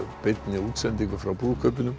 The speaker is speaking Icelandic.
beinni útsendingu frá brúðkaupinu